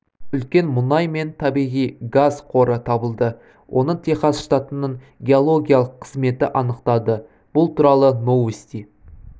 үлкен мұнай мен табиғи газ қоры табылды оны техас штатының геологиялық қызметі анықтады бұл туралы новости